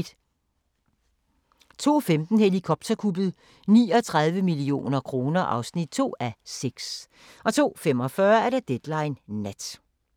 02:15: Helikopterkuppet – 39 millioner kroner (2:6) 02:45: Deadline Nat